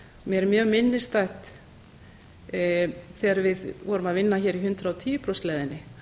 mér er mjög minnisstætt þegar við vorum að vinna hér í hundrað og tíu prósenta leiðinni